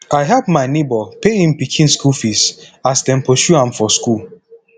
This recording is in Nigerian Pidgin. i help my nebor pay im pikin skool fees as dem pursue am for skool